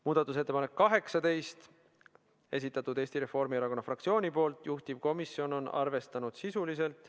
Muudatusettepanek nr 18, selle on esitanud Eesti Reformierakonna fraktsioon, juhtivkomisjon on arvestanud seda sisuliselt .